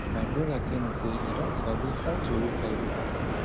my broda tell me say e don sabi how to read bible